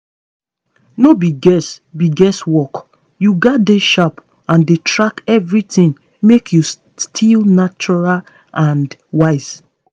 no be guess be guess work. you gats dey sharp and dey track everything make you still natural and wise